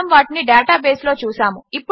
మనము వాటిని డేటాబేస్లో చూసాము